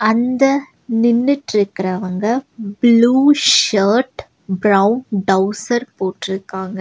இந்த நின்னுட்ருக்கரவங்க blue shirt brown trouser போட்ருக்காங்க.